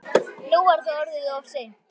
Nú var það orðið of seint.